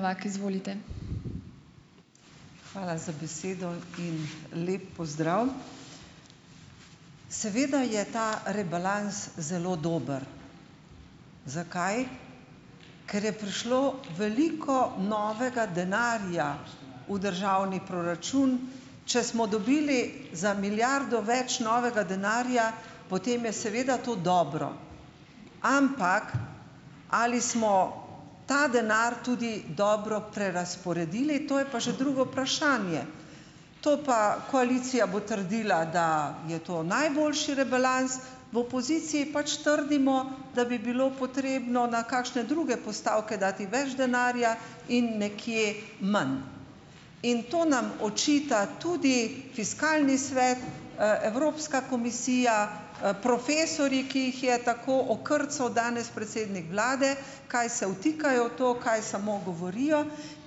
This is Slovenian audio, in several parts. Hvala za besedo in lep pozdrav . Seveda je ta rebalans zelo dober. Zakaj? Ker je prišlo veliko novega denarja v državni proračun. Če smo dobili za milijardo več novega denarja, potem je seveda to dobro. Ampak, ali smo ta denar tudi dobro prerazporedili, to je pa že drugo vprašanje. To pa, koalicija bo trdila, da je to najboljši rebalans, v opoziciji pač trdimo, da bi bilo potrebno na kakšne druge postavke dati več denarja in nekje manj. In to nam očita tudi Fiskalni svet, Evropska komisija, profesorji, ki jih je tako okrcal danes predsednik vlade, kaj se vtikajo v to, kaj samo govorijo.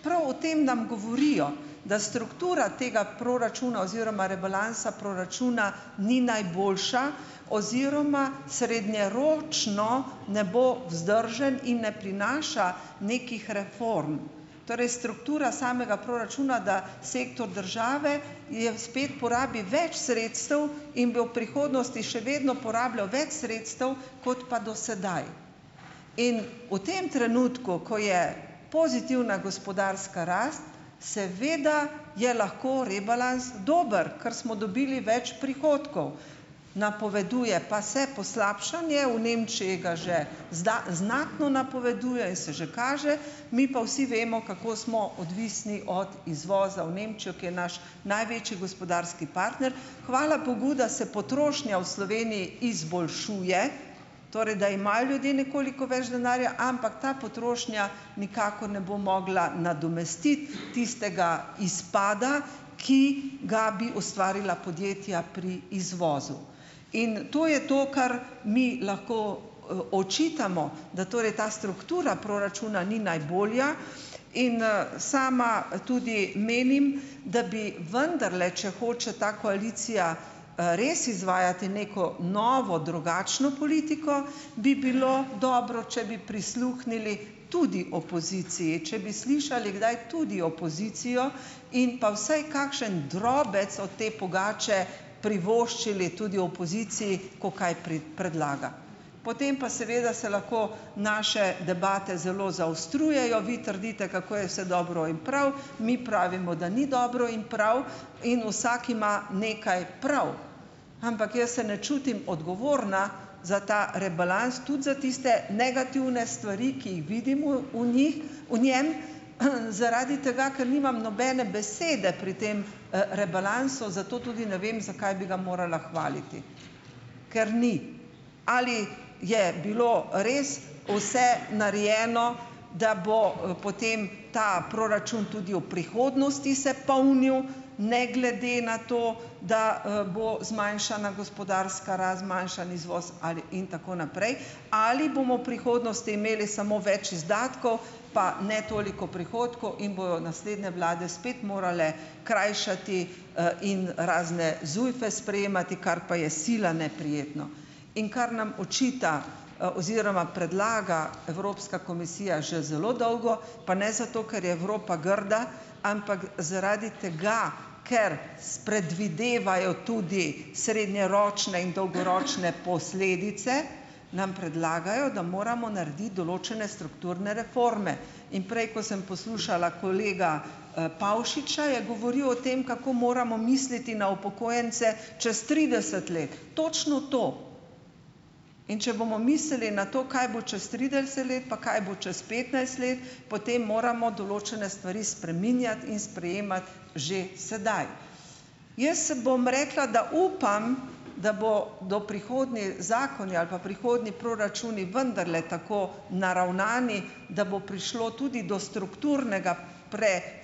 Prav o tem nam govorijo . Da struktura tega proračuna oziroma rebalansa proračuna ni najboljša oziroma srednjeročno ne bo vzdržen in ne prinaša nekih reform. Torej struktura samega proračuna, da sektor države je, spet porabi več sredstev in bi v prihodnosti še vedno porabljal več sredstev kot pa do sedaj. In v tem trenutku, ko je pozitivna gospodarska rast, seveda je lahko rebalans dober. Ker smo dobili več prihodkov. Napoveduje pa se poslabšanje, v Nemčiji ga že znatno napoveduje in se že kaže, mi pa vsi vemo, kako smo odvisni od izvoza v Nemčijo, ki je naš največji gospodarski partner. Hvala bogu, da se potrošnja v Sloveniji izboljšuje, torej da imajo ljudje nekoliko več denarja, ampak ta potrošnja nikakor ne bo mogla nadomestiti tistega izpada, ki ga bi ustvarila podjetja pri izvozu. In to je to, kar mi lahko očitamo, da torej ta struktura proračuna ni najboljša, in sama tudi menim, da bi vendarle, če hoče ta koalicija res izvajati neko novo, drugačno politiko, bi bilo dobro, če bi prisluhnili tudi opoziciji . Če bi slišali kdaj tudi opozicijo in pa vsaj kakšen drobec od te pogače privoščili tudi opoziciji , ko kaj predlaga. Potem pa seveda se lahko naše debate zelo zaostrujejo, vi trdite, kako je vse dobro in prav, mi pravimo, da ni dobro in prav, in vsak ima nekaj prav. Ampak jaz se ne čutim odgovorna za ta rebalans, tudi za tiste negativne stvari, ki jih vidimo v njih, v njem, zaradi tega, ker nimam nobene besede pri tem rebalansu, zato tudi ne vem , zakaj bi ga morala hvaliti . Ker ni. Ali je bilo res vse narejeno, da bo potem ta proračun tudi v prihodnosti se polnil, ne glede na to, da bo zmanjšana gospodarska rast, zmanjšan izvoz ali, in tako naprej. Ali bomo prihodnosti imeli samo več izdatkov, pa ne toliko prihodkov in bojo naslednje vlade spet morale krajšati in razne zujfe sprejemati, kar pa je sila neprijetno. In kar nam očita oziroma predlaga Evropska komisija že zelo dolgo, pa ne zato, ker je Evropa grda, ampak zaradi tega, ker spredvidevajo tudi srednjeročne in dolgoročne posledice, nam predlagajo, da moramo narediti določene strukturne reforme. In prej, ko sem poslušala kolega Pavšiča, je govoril o tem, kako moramo misliti na upokojence čez trideset let. Točno to. In če bomo misli na to, kaj bo čez trideset let, pa kaj bo čez petnajst let, potem moramo določene stvari spreminjati in sprejemati že sedaj. Jaz se bom rekla, da upam, da bodo prihodnji zakoni ali pa prihodnji proračuni vendarle tako naravnani, da bo prišlo tudi do strukturnega pre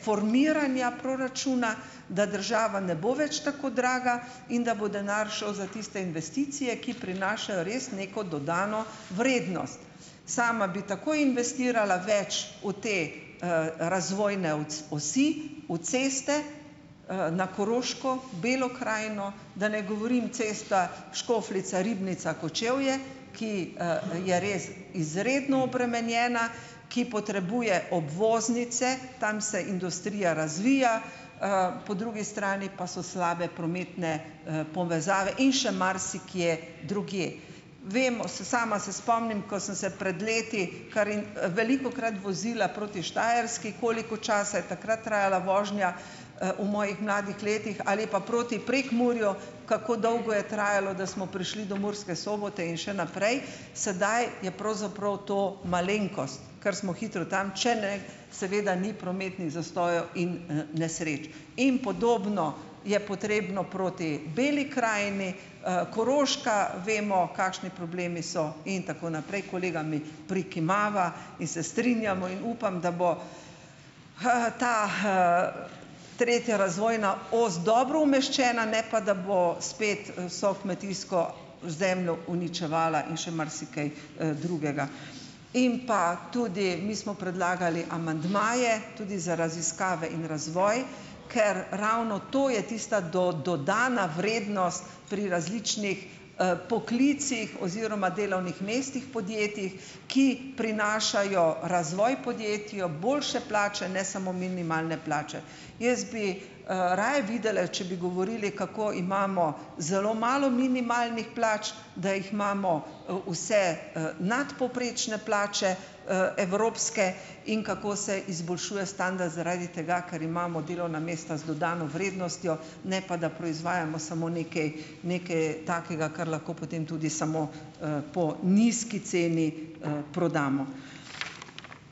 formiranja proračuna, da država ne bo več tako draga in da bo denar šel za tiste investicije, ki prinašajo res neko dodano vrednost. Sama bi tako investirala več v te razvojne osi, v ceste, na Koroško, Belo krajino, da ne govorim cesta Škofljica-Ribnica-Kočevje, ki je res izredno obremenjena, ki potrebuje obvoznice, tam se industrija razvija, po drugi strani pa so slabe prometne povezave in še marsikje drugje. Vem, sama se spomnim, ko sem se pred leti kar velikokrat vozila proti Štajerski, koliko časa je takrat trajala vožnja v mojih mladih letih, ali pa proti Prekmurju, kako dolgo je trajalo, da smo prišli do Murske Sobote in še naprej, sedaj je pravzaprav to malenkost. Kar smo hitro tam, če ne, seveda ni prometnih nesreč zastojev nesreč. In podobno je potrebno proti Beli krajini, Koroška, vemo kakšni problemi so, in tako naprej. Kolega mi prikimava in se strinjamo in upam, da bo ta tretja razvojna os dobro umeščena, ne pa da bo spet vso kmetijsko zemljo uničevala in še marsikaj drugega. In pa tudi, mi smo predlagali amandmaje tudi za raziskave in razvoj, ker ravno to je tista dodana vrednost pri različnih poklicih oziroma delovnih mestih podjetij, ki prinašajo razvoj podjetju, boljše plače, ne samo minimalne plače. Jaz bi raje videla, če bi govorili, kako imamo zelo malo minimalnih plač, da jih imamo vse nadpovprečne plače, evropske, in kako se izboljšuje standard zaradi tega, ker imamo delovna mesta z dodano vrednostjo, ne pa da proizvajamo samo nekaj, nekaj takega, kar lahko potem tudi samo po nizki ceni prodamo.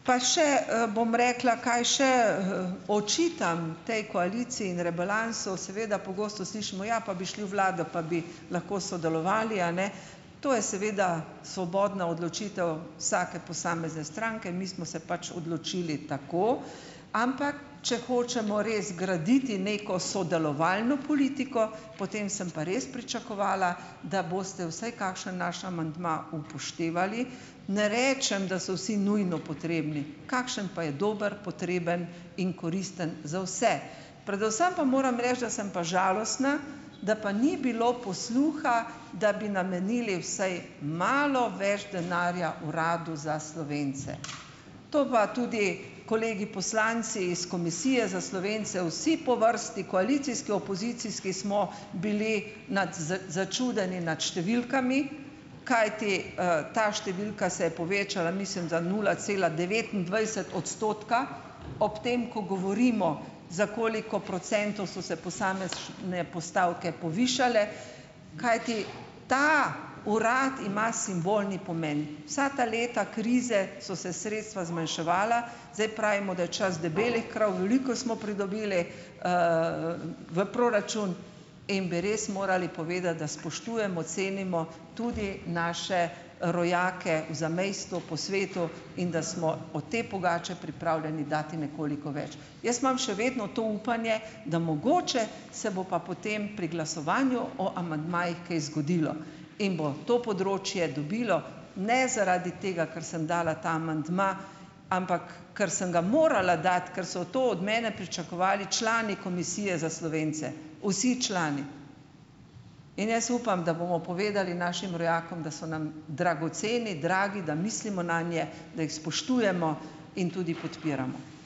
Pa še bom rekla, kaj še očitam tej koaliciji in rebalansu. Seveda pogosto slišimo, ja, pa bi šli v vlado, pa bi lahko sodelovali, a ne. To je seveda svobodna odločitev vsake posamezne stranke, mi smo se pač odločili tako, ampak če hočemo res graditi neko sodelovalno politiko, potem sem pa res pričakovala, da boste vsaj kakšen naš amandma upoštevali. Ne rečem, da so vsi nujno potrebni. Kakšen pa je dober, potreben in koristen za vse. Predvsem pa moram reči, da sem pa žalostna, da pa ni bilo posluha, da bi namenili vsaj malo več denarja Uradu za Slovence. To pa tudi kolegi poslanci iz Komisije za Slovence vsi po vrsti, koalicijski, opozicijski smo bili začudeni nad številkami, kajti ta številka se je povečala mislim, da nula cela devetindvajset odstotka, ob tem, ko govorimo, za koliko procentov so se posamezne postavke povišale, kajti ta urad ima simbolni pomen. Vsa ta leta krize so se sredstva zmanjševala , zdaj pravimo, da je čas debelih krav, veliko smo pridobili v proračun in bi res morali povedati, da spoštujemo, cenimo tudi naše rojake v zamejstvu, po svetu, in da smo od te pogače pripravljeni dati nekoliko več. Jaz imam še vedno to upanje, da mogoče se bo pa potem pri glasovanju o amandmajih kaj zgodilo. In bo to področje dobilo ne zaradi tega, ker sem dala ta amandma, ampak, kar sem ga morala dati, ker so to od mene pričakovali člani Komisije za Slovence. Vsi člani. In jaz upam, da bomo povedali našim rojakom, da so nam dragoceni, dragi, da mislimo nanje, da jih spoštujemo in tudi podpiramo .